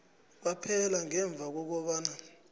kwaphela ngemva kobana